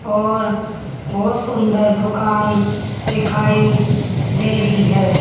और बहुत सुंदर दुकान दिखाई दे रही है।